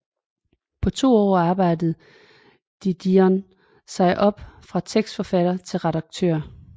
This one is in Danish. På to år arbejdede Didion sig op fra tekstforfatter til redaktør